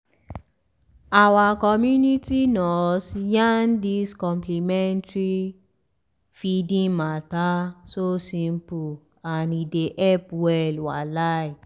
our community nurse yarn dis complementary feeding mata so simple and e dey help well walahi.